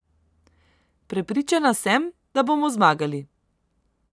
Prepričana sem, da bomo zmagali.